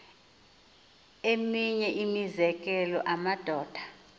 eminye imizekelo amadoda